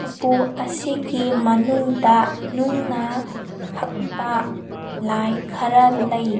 ꯎꯄꯨ ꯑꯁꯤꯒꯤ ꯃꯅꯨꯡꯗ ꯅꯨꯡꯅ ꯍꯛꯄ ꯂꯥꯏ ꯈꯔ ꯂꯩ꯫